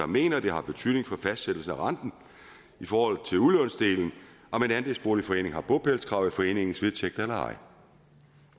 mener at det har betydning for fastsættelse af renten i forhold til udlånsdelen om en andelsboligforening har bopælskrav i foreningens vedtægter eller ej